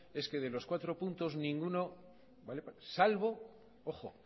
es que de los cuatro puntos ninguno vale salvo ojo